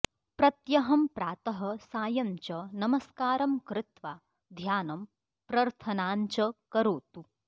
प्रत्यहं प्रातः सायञ्च नमस्कारं कृत्वा ध्यानं प्रर्थनाञ्च करोतु